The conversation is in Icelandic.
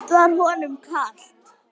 Samt var honum kalt.